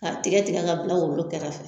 K'a tigɛ tigɛ k'a bila wolo kɛrɛfɛ